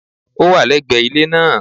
Ó wà légbè ilé náà